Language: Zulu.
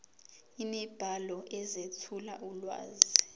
imibhalo ezethula ulwazi